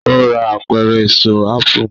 o rà Apẹ̀rẹ̀ Èso ápù